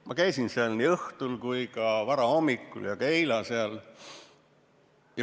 Ma käisin seal nii õhtul kui ka varahommikul ja ka eile.